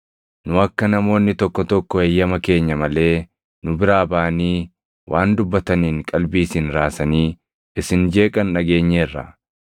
Nu akka namoonni tokko tokko eeyyama keenya malee nu biraa baʼanii waan dubbataniin qalbii isin raasanii isin jeeqan dhageenyeerra.